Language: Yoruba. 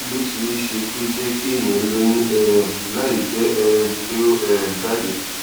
kí ló ṣeé ṣe kó jé kéèyàn lóyún um láìjé um pé ó um jáde